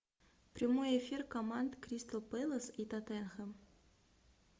прямой эфир команд кристал пэлас и тоттенхэм